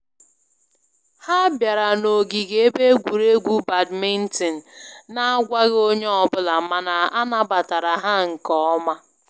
Ha biara na ogige ebe egwuruegwu badminton na agwaghị onye ọ bụla mana a nabatara ha nke ọma